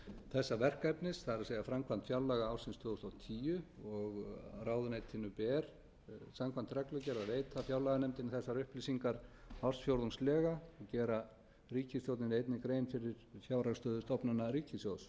þessa verkefnis það er framkvæmd fjárlaga ársins tvö þúsund og tíu og ráðuneytinu ber samkvæmt reglugerð að veita fjárlaganefndinni þessar upplýsingar ársfjórðungslega og gera ríkisstjórninni einnig grein fyrir fjárhagsstöðu stofnana ríkissjóðs